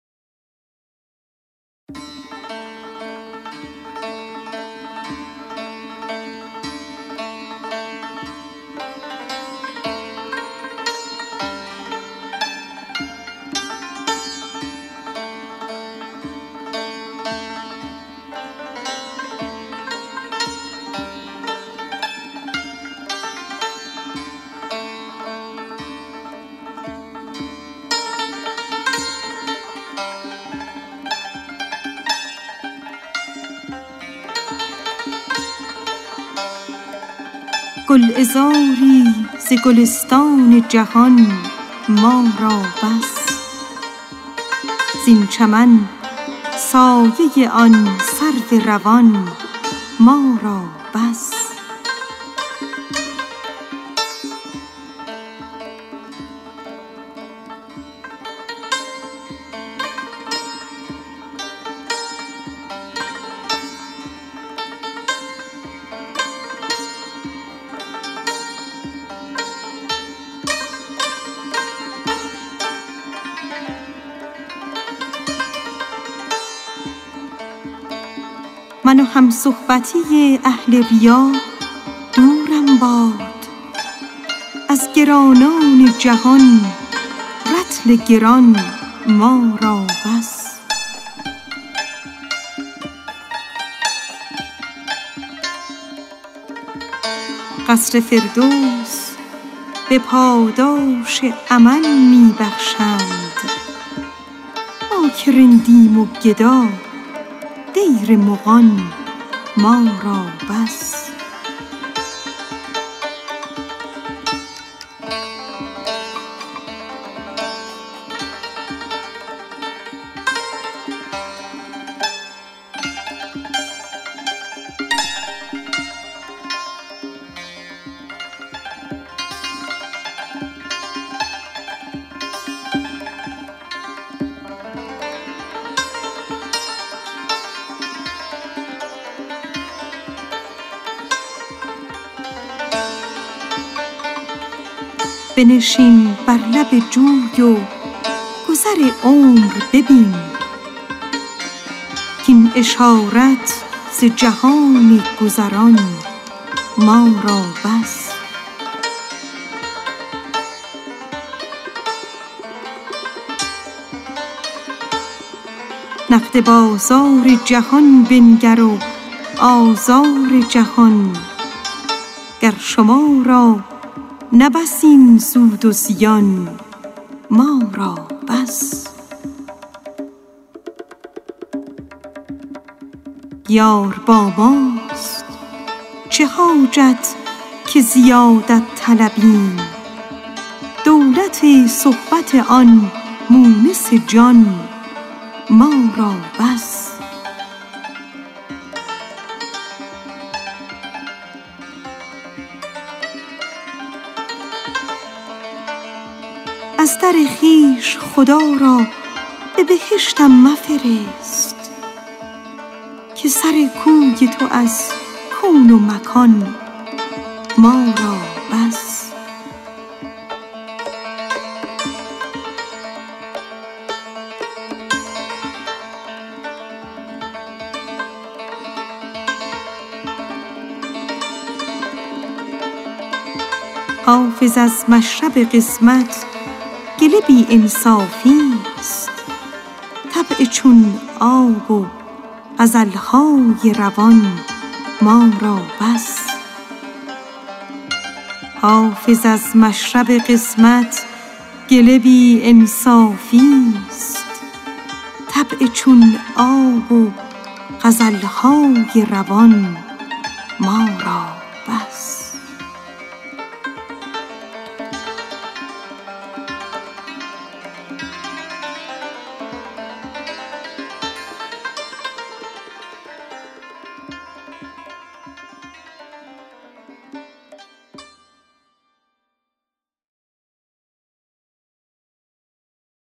گلعذاری ز گلستان جهان ما را بس زین چمن سایه آن سرو روان ما را بس من و همصحبتی اهل ریا دورم باد از گرانان جهان رطل گران ما را بس قصر فردوس به پاداش عمل می بخشند ما که رندیم و گدا دیر مغان ما را بس بنشین بر لب جوی و گذر عمر ببین کاین اشارت ز جهان گذران ما را بس نقد بازار جهان بنگر و آزار جهان گر شما را نه بس این سود و زیان ما را بس یار با ماست چه حاجت که زیادت طلبیم دولت صحبت آن مونس جان ما را بس از در خویش خدا را به بهشتم مفرست که سر کوی تو از کون و مکان ما را بس حافظ از مشرب قسمت گله ناانصافیست طبع چون آب و غزل های روان ما را بس